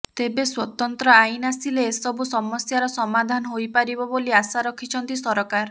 ତେବେ ସ୍ୱତନ୍ତ୍ର ଆଇନ୍ ଆସିଲେ ଏସବୁ ସମସ୍ୟାର ସମାଧାନ ହୋଇପାରିବ ବୋଲି ଆଶା ରଖିଛନ୍ତି ସରକାର